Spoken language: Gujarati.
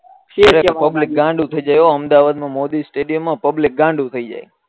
પુબ્લિક ગાંડું થઇ જાય અમદાવાદ મોદી સ્ટેડીયમ મા પુબ્ક્લિક ગાંડુ થાઈ જાય